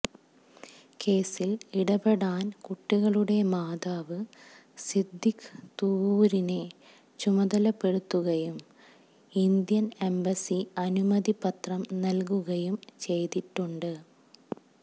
കേസില് ഇടപെടാന് കുട്ടികളുടെ മാതാവ് സിദ്ദീഖ് തുവ്വൂരിനെ ചുമതലപ്പെടുത്തുകയും ഇന്ത്യന് എംബസി അനുമതിപത്രം നല്കുകയും ചെയ്തിട്ടുണ്ട്